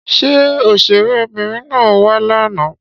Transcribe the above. Ṣé òṣèré Obìnrin na wa lànà?